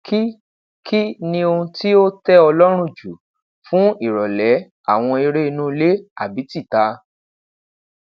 ki ki ni ohun ti o tẹ ọ lọrun ju fun irọlẹ awọn ere inu ile abi tita